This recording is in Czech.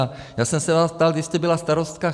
A já jsem se vás ptal, vy jste byla starostka